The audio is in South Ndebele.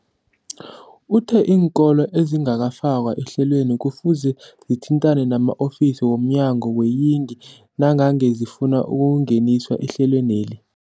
Uthe iinkolo ezingakafakwa ehlelweneli kufuze zithintane nama-ofisi womnyango weeyingi nangange zifuna ukungeniswa ehlelweni.